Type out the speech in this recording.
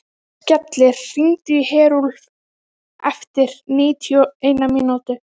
Skellir, hringdu í Herúlf eftir níutíu og eina mínútur.